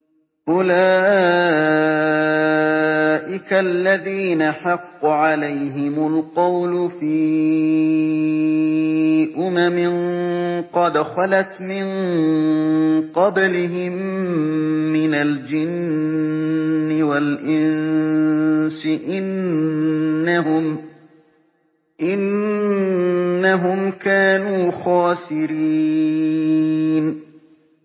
أُولَٰئِكَ الَّذِينَ حَقَّ عَلَيْهِمُ الْقَوْلُ فِي أُمَمٍ قَدْ خَلَتْ مِن قَبْلِهِم مِّنَ الْجِنِّ وَالْإِنسِ ۖ إِنَّهُمْ كَانُوا خَاسِرِينَ